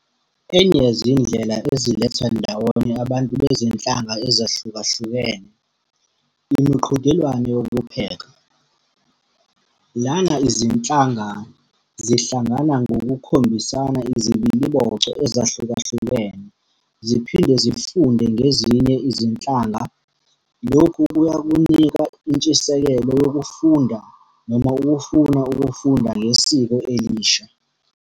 Enye yezindlela eziletha ndawonye abantu bezinhlanga ezahlukahlukene, imiqhudelwano yokupheka. Lana izinhlanga zihlangana ngokukhombisana izibiliboco ezahlukahlukene, ziphinde zifunde ngezinye izinhlanga. Lokhu kuyakunika intshisekelo yokufunda noma ukufuna ukufunda ngesiko elisha.